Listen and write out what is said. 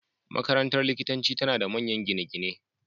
Makarantar likitanci tana da manyan gine-gine